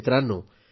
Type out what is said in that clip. मित्रांनो